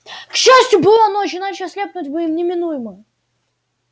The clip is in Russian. к счастью была ночь иначе ослепнуть бы им неминуемо